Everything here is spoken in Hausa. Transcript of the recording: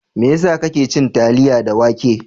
Mai yasa kake cin taliya da wake?